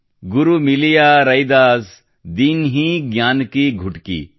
ಗುರು ಮಿಲಿಯಾ ರೈದಾಸ್ ದೀನ್ಹೀ ಜ್ಞಾನ್ ಕೀ ಗುಟಕೀ